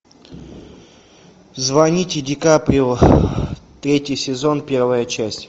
звоните ди каприо третий сезон первая часть